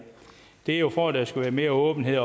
det er for at der skal være mere åbenhed